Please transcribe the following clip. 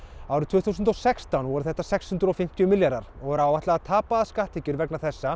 árið tvö þúsund og sextán voru það sex hundruð og fimmtíu milljarðar og er áætlað að tapaðar skatttekjur vegna þessa